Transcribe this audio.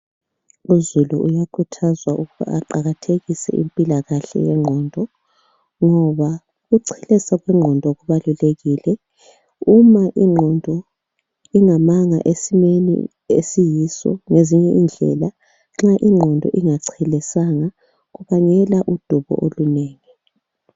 Uzulu uyakhuthazwa ukuba aqakathekise impilakahle yengqondo ngoba ukuchelesa kwengqondo kubalulekile uma ingqondo ingamanga esimeni esiyiso ngezinye indlela nxa ingqondo ingachelesanga kubangela udubo olunengi.